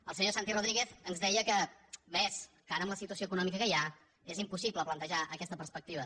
el senyor santi rodríguez ens deia que ves que ara amb la situació econòmica que hi ha és impossible plantejar aquesta perspectiva